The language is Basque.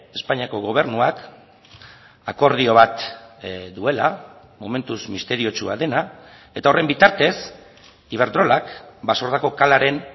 espainiako gobernuak akordio bat duela momentuz misteriotsua dena eta horren bitartez iberdrolak basordako kalaren